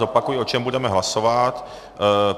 Zopakuji, o čem budeme hlasovat.